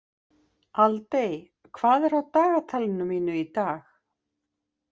Aldey, hvað er á dagatalinu mínu í dag?